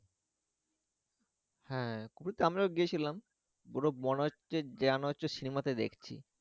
হ্যা খুপড়িতে আমরাও গিয়েছিলাম পুরো মনে হচ্ছে যেন হচ্ছে শিমলা তে দেখছি